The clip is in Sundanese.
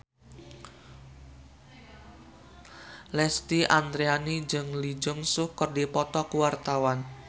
Lesti Andryani jeung Lee Jeong Suk keur dipoto ku wartawan